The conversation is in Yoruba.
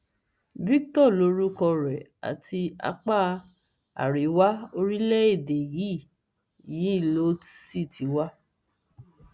victor lorúkọ rẹ àti apá àríwá orílẹèdè yìí yìí ló sì ti wá